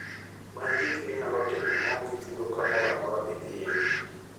Many gik minyalo timo maonge chudo kamoro amora midhiye.